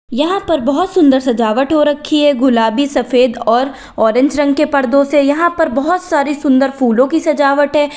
यहां पर बहुत सुंदर सजावट हो रखी है गुलाबी सफेद और ऑरेंज रंग के पर्दों से यहां पर बहुत सारी सुंदर फूलों की सजावट है।